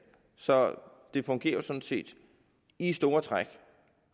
så det fungerer jo sådan set i store træk